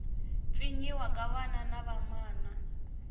pfinyiwa ka vana na vamana